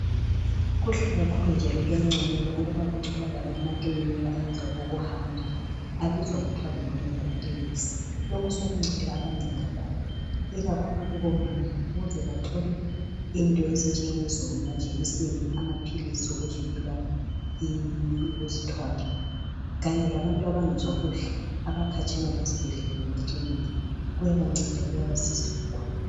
Kuhle kakhulu njalo kuyanconywa ukuba kutholakale amakilinika ayenza okouhamba abizwa kuthiwa ngamamobile clinics. Lokhu sokuncede abanengi kakhulu, ikakhulu kubomama ukuze bathole into ezinjengamajekiseni, amaphilisi okuvikela ukuzithwala kanye labantu abangezwa kuhle abakhatshana lezibhedlela lamakiliniki kuyabanceda kuyabasiza kakhulu.